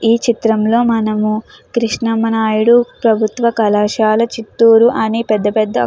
ఈ చిత్రంలో మనము కృష్ణమ నాయుడు ప్రభుత్వ కళాశాల చిత్తూరు అనే పెద్ద పెద్ద.